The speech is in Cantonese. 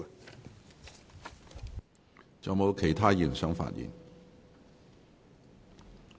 是否有其他議員想發言？